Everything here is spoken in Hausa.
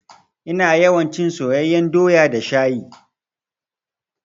Ina yawan cin soyeyyan doya da shayi.